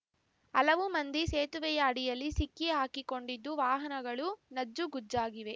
ಹಲವು ಮಂದಿ ಸೇತುವೆಯ ಅಡಿಯಲ್ಲಿ ಸಿಕ್ಕಿಹಾಕಿಕೊಂಡಿದ್ದು ವಾಹನಗಳು ನಜ್ಜುಗುಜ್ಜಾಗಿವೆ